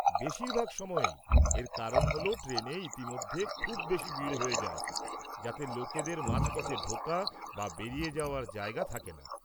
বেশিরভাগ সময়েই এর কারণ হ'ল ট্রেনে ইতিমধ্যেই খুব বেশি ভিড় হয়ে যায় যাতে লোকেদের মাঝপথে ঢোকা বা বেরিয়ে যাওয়ার জায়গা থাকে না।